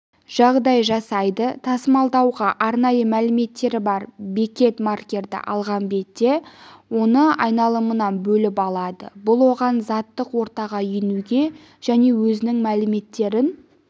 жағдай жасайды тасымалдауға арнайы мәліметтері бар бекет маркерді алған бетте оны айналымнан бөліп алады бұл оған заттық ортаға енуге және өзінің мәліметтерін